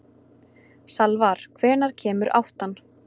Salvar, hvenær kemur áttan?